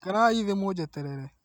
Ikarai thĩ mũnjeterere